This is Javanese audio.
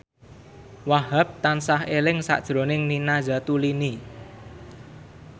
Wahhab tansah eling sakjroning Nina Zatulini